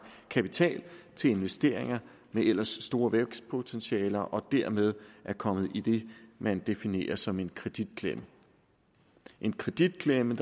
kapital til investeringer med ellers store vækstpotentialer og dermed er kommet i det man definerer som en kreditklemme en kreditklemme